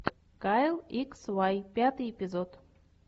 кайл икс вай пятый эпизод